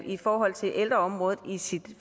i forhold til ældreområdet i sit